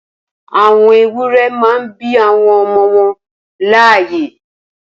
Awọn éwùrẹ̀ mà n bi awọn ọmọ wọn làáyẹ́